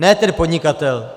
Ne ten podnikatel!